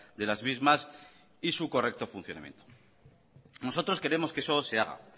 de las mismas y su correcto funcionamiento nosotros queremos que eso se haga